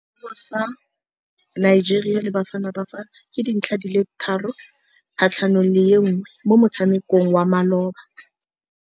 Sekôrô sa Nigeria le Bafanabafana ke 3-1 mo motshamekong wa malôba.